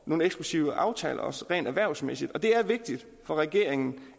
nogle eksklusive aftaler rent erhvervsmæssigt og det er vigtigt for regeringen